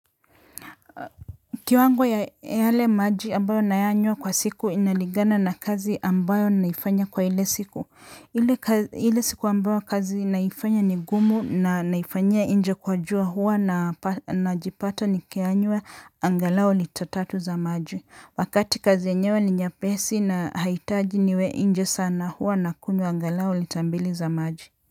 Kiwango ya yale maji ambayo nayanywa kwa siku inalingana na kazi ambayo naifanya kwa ile siku. Ile siku ambayo kazi naifanya ni ngumu na naifanyia inje kwa jua huwa najipata ni kiyanywa angalau lita tatu za maji. Wakati kazi yenyewe ni nyepesi na haitaji niwe nje sana huwa nakunywa angalau lita mbili za maji.